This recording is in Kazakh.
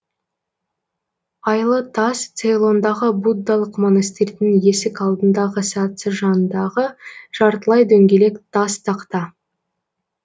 айлы тас цейлондағы буддалық монастырьдың есік алдындағы сатысы жанындағы жартылай дөңгелек тас тақта